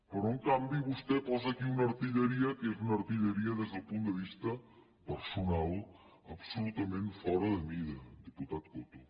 però en canvi vostè posa aquí una artilleria que és una artilleria des del punt de vista personal absolutament fora de mira diputat coto